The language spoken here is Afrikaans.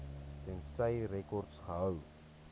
tensy rekords gehou